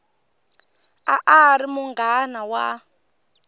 a a ri munghana wa